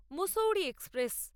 Mussoorie express